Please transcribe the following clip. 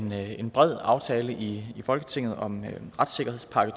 med en bred aftale i folketinget om retssikkerhedspakke